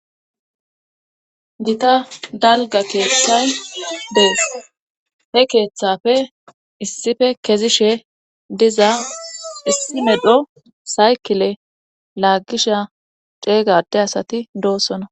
gita dalga keeththay dees he keeththafe issife kezishe diza issi medho saykile laagisha ceeg adde asati doosona